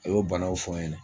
A y'o banaw fɔ n ɲɛna